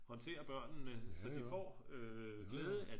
Håndtere børnene så det får glæde af